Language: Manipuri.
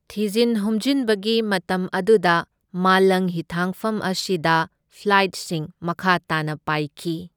ꯊꯤꯖꯤꯟ ꯍꯨꯝꯖꯤꯟꯕꯒꯤ ꯃꯇꯝ ꯑꯗꯨꯗ ꯃꯥꯂꯪ ꯍꯤꯊꯥꯡꯐꯝ ꯑꯁꯤꯗ ꯐ꯭ꯂꯥꯏꯠꯁꯤꯡ ꯃꯈꯥ ꯇꯥꯅ ꯄꯥꯢꯈꯤ꯫